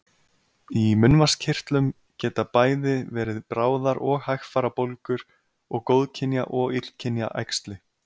Í munnvatnskirtlum geta bæði verið bráðar og hægfara bólgur og góðkynja og illkynja æxli.